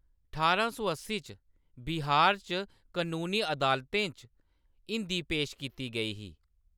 ठारां सौ अस्सी च बिहार च कनूनी अदालतें च हिंदी पेश कीती गेई ही।